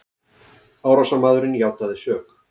Árásarmaðurinn játaði sök